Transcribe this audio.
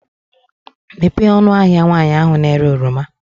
Mepee ọnụ ahịa nwaanyị ahụ na-ere oroma.